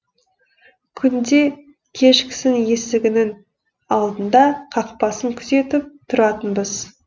күнде кешкісін есігінің алдында қақпасын күзетіп тұратынбыз